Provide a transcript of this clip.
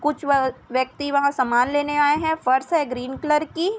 कुछ वय व्यक्ति वहाँ समान लेने आये है फर्श है ग्रीन कलर की